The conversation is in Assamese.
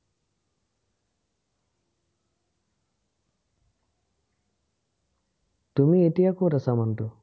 তুমি এতিয়া কত আছা মানুহটো?